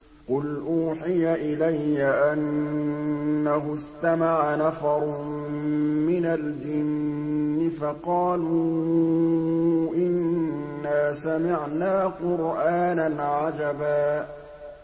قُلْ أُوحِيَ إِلَيَّ أَنَّهُ اسْتَمَعَ نَفَرٌ مِّنَ الْجِنِّ فَقَالُوا إِنَّا سَمِعْنَا قُرْآنًا عَجَبًا